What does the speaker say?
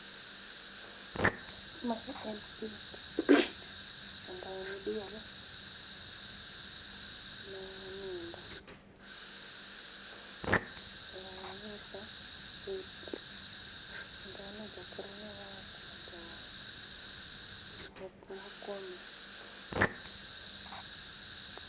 Mae en pith kendo en diel manindo. To onyiso pith kendo onego okelne yath mondo opuo kuome